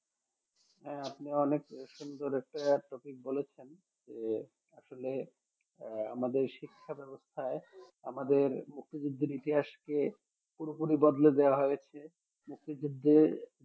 হ্যাঁ আপনি অনেক সুন্দর একটা topic বলেছেন যে আসলে আহ আমাদের শিক্ষা ব্যবস্থায় আমাদের মুক্তিযুদ্ধের ইতিহাসকে পুরোপুরি বদলে দেওয়া হয়েছে মুক্তিযুদ্ধে